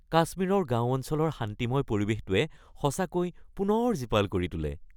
কাশ্মীৰৰ গাঁও অঞ্চলৰ শান্তিময় পৰিৱেশেটোৱে সঁচাকৈ পুনৰ জীপাল কৰি তোলে।